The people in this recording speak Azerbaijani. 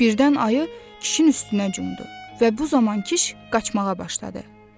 Birdən ayı kişinin üstünə cumdu və bu zaman kişi qaçmağa başladı.